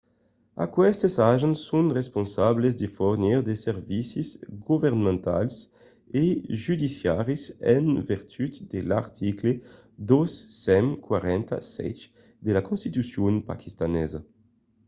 aquestes agents son responsables de fornir de servicis governamentals e judiciaris en vertut de l'article 247 de la constitucion paquistanesa